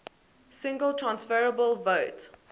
single transferable vote